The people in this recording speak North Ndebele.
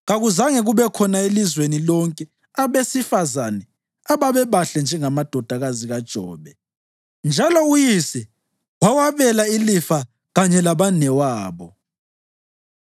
Kakuzange kube khona elizweni lonke abesifazane ababebahle njengamadodakazi kaJobe, njalo uyise wawabela ilifa kanye labanewabo.